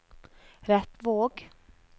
Repvåg